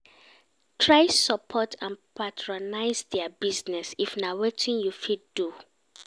Try support and patronise their business if na wetin you fit do